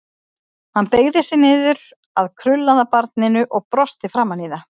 Hann beygði sig niður að krullaða barninu og brosti framan í það.